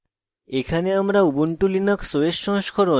এখানে আমরা